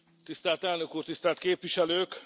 Tisztelt Elnök Úr, Tisztelt Képviselők!